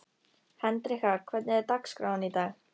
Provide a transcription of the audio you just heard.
Hendrikka, hvernig er dagskráin í dag?